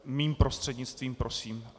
Mým prostřednictvím, prosím.